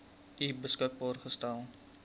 u beskikbaar gestel